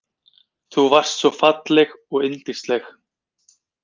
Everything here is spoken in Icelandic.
Þú varst svo falleg og yndisleg.